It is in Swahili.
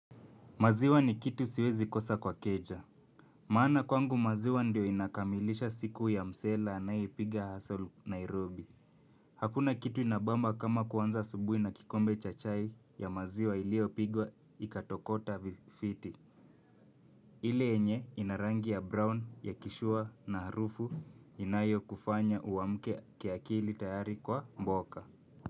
Maziwa ni kitu siwezi kosa kwa keja. Maana kwangu maziwa ndio inakamilisha siku ya msela anayipiga hustle Nairobi. Hakuna kitu inabamba kama kuwanza asubui na kikombe cha chai ya maziwa ilio pigwa ikatokota vifiti. Ile yenye ina rangi ya brown ya kishua na harufu inayo kufanya uamke kiakili tayari kwa mboka.